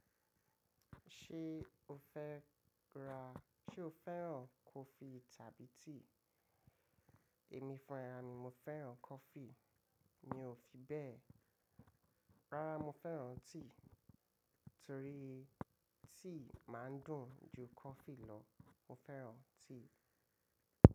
Ṣé o fẹ́ ra-- ṣé o fẹ́ràn kọfí tàbí tíì? Èmi fún ẹra mi, mo fẹ́ràn kọfí. Mi ò fi bẹ́ẹ̀. Rárá, mo fẹ́ràn tíì torí tíì máa ń dùn ju kọfí lọ. Mo fẹ́ràn tíì.